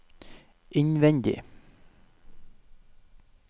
innvendig